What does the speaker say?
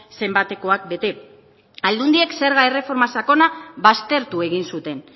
zenbatekoak bete aldundiek zerga erreforma sakona baztertu egin zuten